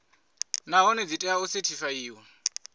nahone dzi tea u sethifaiwa